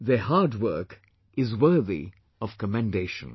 Their hard work is worthy of commendation